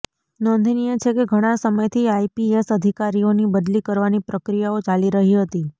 નોંધનીય છે કે ઘણા સમયથી આઇપીએસ અધિકારીઓની બદલી કરવાની પ્રક્રિયાઓ ચાલી રહી હતી